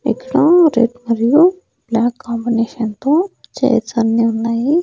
ఇక్కడ రెడ్ మరియు black combination తో చైర్స్ అన్నీ ఉన్నాయి.